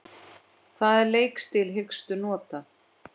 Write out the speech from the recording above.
Hvaða leikstíl hyggstu nota?